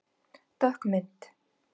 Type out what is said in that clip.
Dökk mynd